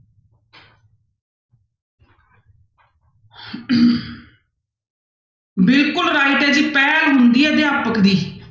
ਬਿਲਕੁਲ right ਹੈ ਜੀ ਪਹਿਲ ਹੁੰਦੀ ਹੈ ਅਧਿਆਪਕ ਦੀ।